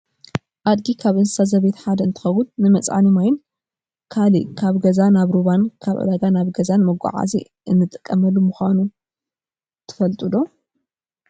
ኣድጊ ካብ እንስሳ ዘቤት ሓደ እንትከውን ንመፅዓኒ ማይን ካልእን ካብ ገዛ ናብ ሩባን ካብ ዕዳጋ ናብ ገዛን መጓዓዓዚ እትጠቅመሉ ምኳኑ ትፈልጡ ዶ ?